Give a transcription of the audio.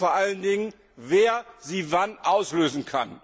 Und vor allen Dingen, wer kann sie wann auslösen?